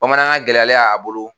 Bamanankan gɛlɛyalen a bolo